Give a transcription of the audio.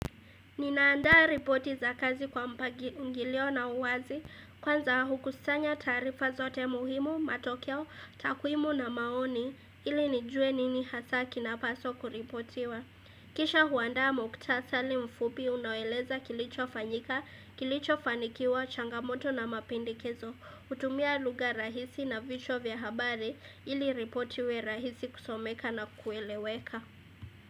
Ninaandaa ripoti za kazi kwa mpangilio na uwazi, kwanza hukusanya taarifa zote muhimu, matokeo, takwimu na maoni, ili nijue nini hasaki na paswa kuripotiwa. Kisha huandaa muktasali mfupi unaoeleza kilicho fanyika, kilicho fanikiwa, changamoto na mapendekezo, hutumia lugha rahisi na vichwa vya habari ili ripoti iwe rahisi kusomeka na kueleweka.